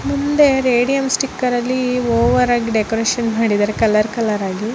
ಮುಂದೆ radium sticker ಅಲ್ಲಿ over ಆಗಿ ಡೆಕೋರೇಷನ್ ಮಾಡಿದರೆ ಕಲರ್ ಕಲರ್ ಆಗಿ --